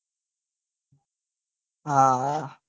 હા હા